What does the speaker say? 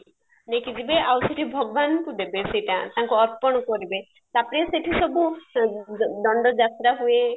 ନେଇକି ଯିବେ ଆଉ ସେଠି ଭଗବାନଙ୍କୁ ଦେବେ ତାପରେ ସେଠି ସବୁ ଦଣ୍ଡ ଯାତ୍ରା ହୁଏ